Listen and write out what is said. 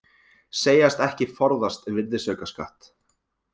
Segjast ekki forðast virðisaukaskatt